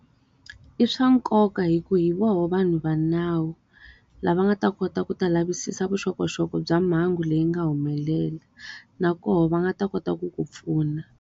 I swa nkoka hikuva hi vona vanhu va nawu, lava nga ta kota ku ta lavisisa vuxokoxoko bya mhangu leyi nga humelela. na koho va nga ta kota ku ku pfuna.